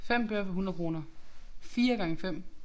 5 bøger for 100 kroner. 4*5